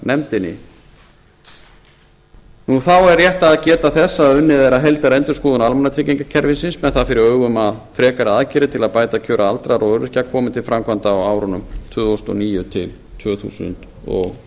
fjárlaganefndinni þá er rétt að geta þess að unnið er að heildarendurskoðun almannatryggingakerfisins með það fyrir augum að frekari aðgerðir til að bæta kjör aldraðra og öryrkja komi til framkvæmda á árunum tvö þúsund og níu til tvö þúsund og